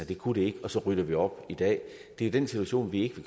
det kunne de ikke og så rydder vi op i dag det er den situation vi ikke